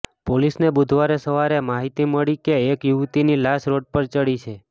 પોલીસને બુધવારે સવારે માહિતી મળી કે એક યુવતીની લાશ રોડ પર પડી છે